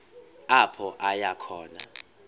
apho aya khona